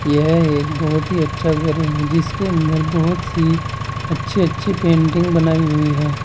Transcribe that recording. यह एक बहुत ही अच्छा घर है जिसके अंदर बहुत सी अच्छे अच्छे पेंटिंग बनाई हुई है।